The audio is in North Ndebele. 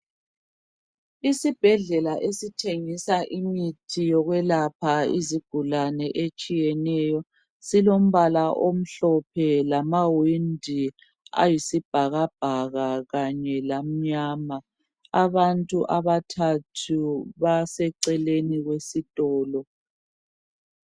Isibhedlela esithengisa imithi yokwelapha izigulane etshiyeneyo silombala omhlophe lamawindi ayisibhakabhaka kanye lamnyama abantu abathathu baseceleni kwesitolo.